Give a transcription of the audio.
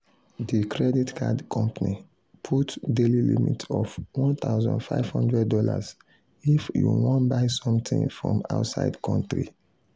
the credit card company put daily limit of one thousand five hundred dollars if you wan buy something from outside country.